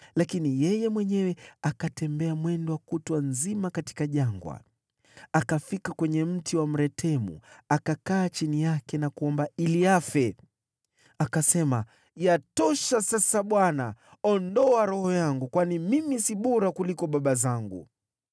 lakini yeye mwenyewe akatembea mwendo wa kutwa nzima katika jangwa. Akafika kwenye mti wa mretemu, akakaa chini yake na kuomba ili afe. Akasema, “Yatosha sasa, Bwana , ondoa roho yangu, kwani mimi si bora kuliko baba zangu.”